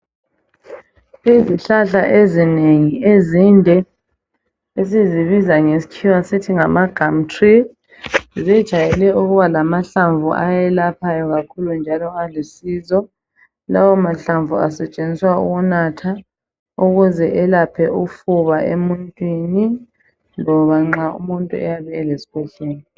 Izihlahla ezinengi ezinde esizibiza ngeskhiwa sithi ngama gamtri. Zijayele ukuba lamahlamvu ayelaphayo kakhulu njalo alusizo. Lawo mahlamvu asetshenziswa ukunatha ukuze elephe ufuna emuntwini loba nxa umuntu oyabe eleskhwehlela.